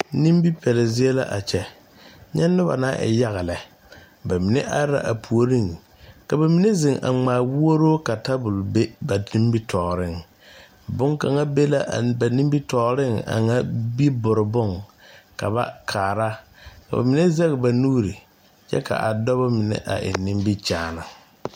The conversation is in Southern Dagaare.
Nimbipɛlw zie la a kyɛ nyɛ nobɔ naŋ e yaga lɛ ba mine are la a puoriŋ ka ba mine zeŋ a ngma wooroo ka tabol be ba nimitooreŋ bonkaŋa be la ba nimitooreŋ a ŋa bibore bon ka ba kaara ka ba mine zeŋ ba nuure kyɛ ka dɔbɔ mine a eŋ nimikyaane.